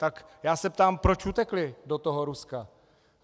Tak já se ptám, proč utekli do toho Ruska?